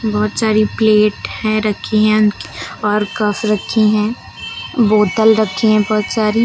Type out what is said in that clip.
बहुत सारी प्लेट हैं रखी हैं और कप रखी हैं बोतल रखी हैं बहुत सारी।